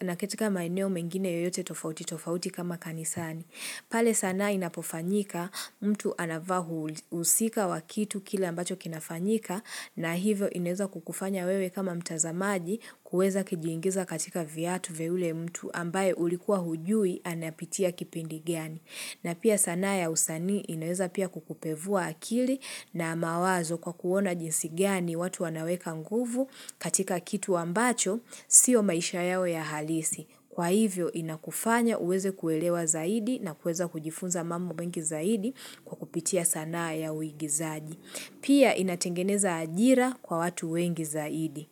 na katika maeneo mengine yoyote tofauti tofauti kama kanisani. Pale sanaa inapofanyika mtu anavaa husika wa kitu kile ambacho kinafanyika na hivyo inaeza kukufanya wewe kama mtazamaji kuweza kijiingiza katika viatu vya yule mtu ambaye ulikuwa hujui anapitia kipindi gani. Na pia sanaa ya usanii inaweza pia kukupevua akili na mawazo kwa kuona jinsi gani watu wanaweka nguvu katika kitu ambacho sio maisha yao ya halisi. Kwa hivyo inakufanya uweze kuelewa zaidi na kuweza kujifunza mambo mengi zaidi kwa kupitia sanaa ya uigizaji. Pia inatengeneza ajira kwa watu wengi zaidi.